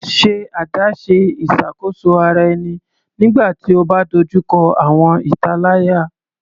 Ṣe adaṣe iṣakoso ara ẹni nigbati o ba dojuko awọn italaya